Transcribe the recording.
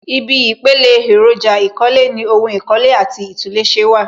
Ibi ìpele èròjà ìkọ́lé ni ohun ìkọ́lé àti ìtúnléṣe wà